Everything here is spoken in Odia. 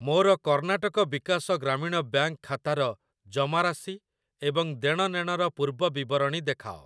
ମୋର କର୍ଣ୍ଣାଟକ ବିକାଶ ଗ୍ରାମୀଣ ବ୍ୟାଙ୍କ୍‌ ଖାତାର ଜମାରାଶି ଏବଂ ଦେଣନେଣର ପୂର୍ବବିବରଣୀ ଦେଖାଅ ।